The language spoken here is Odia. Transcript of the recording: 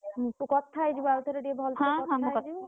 ହୁଁ ତୁ କଥା ହେଇ ଯିବୁ ଆଉ ଥରେ ଟିକେ ଭଲସେ କଥା ହେଇ ଯିବୁ।